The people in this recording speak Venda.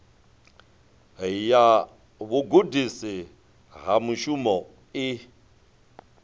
ya vhugudisi ha mushumo i